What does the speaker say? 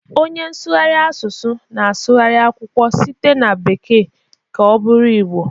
Onye nsụgharị asụsụ na-asụgharị akwụkwọ site na bekee ka ọ bụrụ Igbo.